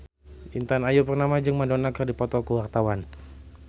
Intan Ayu Purnama jeung Madonna keur dipoto ku wartawan